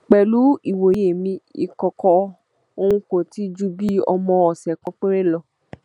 pẹlú ìwòye mi ìkọkọ ọhún kò tí ì ju bíi ọmọ ọsẹ kan péré lọ